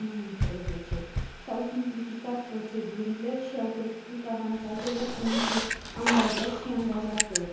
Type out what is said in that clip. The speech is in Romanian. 2011. S au simplificat procedurile și au crescut avantajele pentru angajați și angajatori.